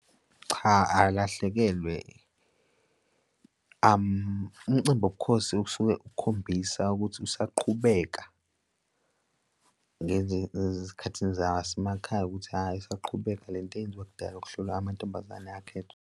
Cha, akalahlekelwe umncimbi wobukhosi okusuke ukhombisa ukuthi usaqhubeka ezikhathini zasemakhaya ukuthi, hhayi, isaqhubeka le nto eyenziwa kudala ukuhlolwa amantombazane akhethwe.